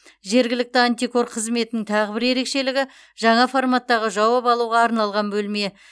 жергілікті антикор қызметінің тағы бір ерекшелігі жаңа форматтағы жауап алуға арналған бөлме